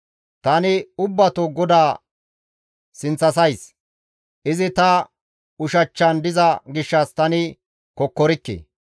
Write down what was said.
Tani ubbato GODAA sinththasays; izi ta ushachchan diza gishshas tani kokkorikke.